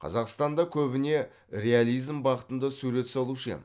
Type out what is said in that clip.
қазақстанда көбіне реализм бағытында сурет салушы ем